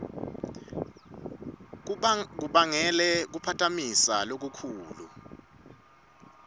kubangele kuphatamiseka lokukhulu